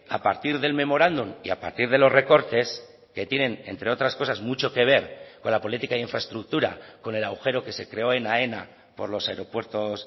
a partir del memorándum y a partir de los recortes que tienen entre otras cosas mucho que ver con la política de infraestructura con el agujero que se creó en aena por los aeropuertos